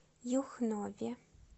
юхнове